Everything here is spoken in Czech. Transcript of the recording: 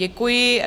Děkuji.